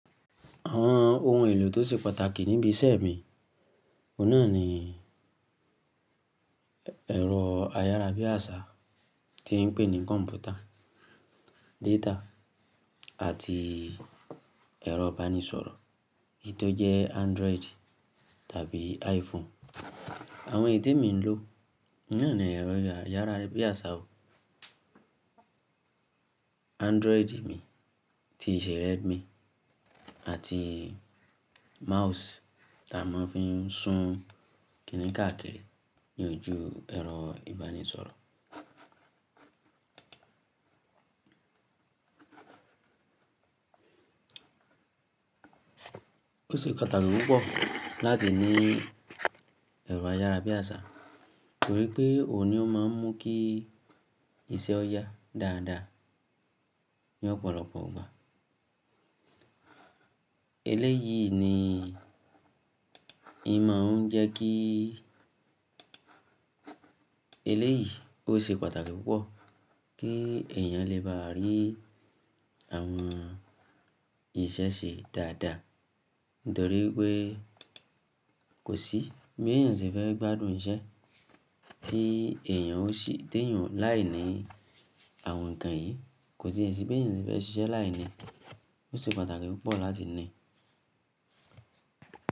Àwọn ohun èlò tó ṣe pàtàkì níbi iṣẹ́ mi, ọ̀nà ni ẹ̀rọ ayárabíàṣá tí ń pè ní kọ̀npútà, data àti ẹ̀rọ ìbánisọ̀rọ̀, èyí tó jẹ́ Android tàbí iPhone. Àwọn ìyí te'mi ń lò náà ni ẹ̀rọ ayárabíàṣá o, Android mi ti ìṣeé redmi àti mouse tí a máa ń fi sún kìíní káàkiri ní ojú ẹ̀rọ ìbánisọ̀rọ̀. Ó ṣe pàtàkì púpọ̀ láti ní ẹ̀rọ ayárabíàṣá, torí pé òun ni ó máa ń mú kí iṣẹ́ ọ yá dáadáa ní ọ̀pọ̀lọpọ̀ igbà. Eléyìí ni ẹ máa ń jẹ́ kí, eléyìí ó ṣe pàtàkì púpọ̀ kí ẹ̀yàn lè bá rí àwọn iṣẹ́ ṣe dáadáa, nítorí pé kò sí bí ẹ̀yàn ṣe fẹ́ gbádùn iṣẹ́ tí ẹ̀yàn ó ṣì téyàn láìní àwọn ǹkan yìí, kò sí èsì pé ẹ̀yàn ṣe fẹ́ ṣiṣẹ́ láìní. Ó ṣe pàtàkì púpọ̀ láti ní i.